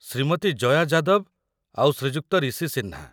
ଶ୍ରୀମତୀ ଜୟା ଯାଦବ ଆଉ ଶ୍ରୀଯୁକ୍ତ ରିଶି ସିହ୍ନା ।